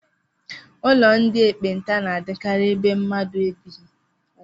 Ụlọ ndị ekpenta na-adịkarị ebe mmadụ ebighị